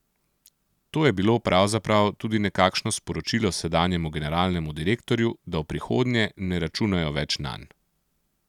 To je bilo pravzaprav tudi nekakšno sporočilo sedanjemu generalnemu direktorju, da v prihodnje ne računajo več nanj.